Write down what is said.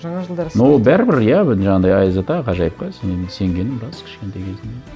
жаңа жылдары но бәрібір иә бір жаңағындай аяз ата ғажайыпқа сенгенім рас кішкентай кезімде